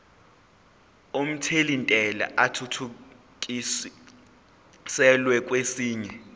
omthelintela athuthukiselwa kwesinye